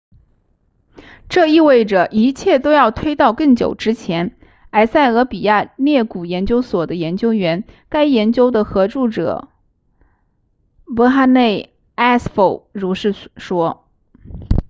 这意味着一切都要推到更久之前埃塞俄比亚裂谷研究所的研究员该研究的合著者 berhane asfaw 如是说